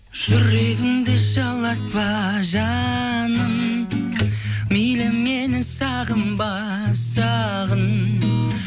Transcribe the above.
жүрегімді жылатпа жаным мейлі мені сағынба сағын